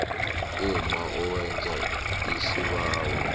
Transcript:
umma owenza isibawo